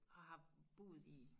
Og har boet i